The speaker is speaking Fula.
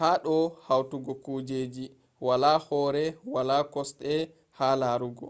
hado hautugo kujeji wala hore wala kosde ha larugo